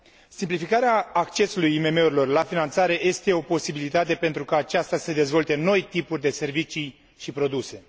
Simplificarea accesului IMM urilor la finanțare este o posibilitate pentru ca aceasta să dezvolte noi tipuri de servicii și produse.